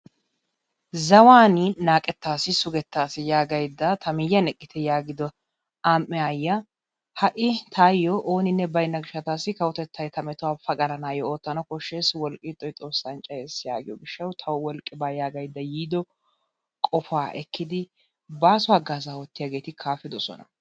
Zawaani naaqettas sugettas yagaydda ta miyaani eqqite yaagido amm'e aayiaa ha'i taayoo ooninne bayinna gishataassi kawotettay ta metuwaa pagalanaayoo oottana koshshes wolqqi ixxoy xoossan cayes yaagiyoo gishshaw tawu wolqqi baa yaagaydda yiido qofaa ekkidi baaso hagaazaa oottiyaageeti kaafidosona.